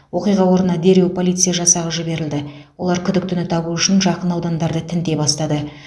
оқиға орнына дереу полиция жасағы жіберілді олар күдіктіні табу үшін жақын аудандарды тінте бастады